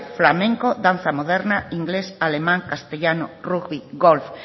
flamenco danza moderna inglés alemán castellano rugby golf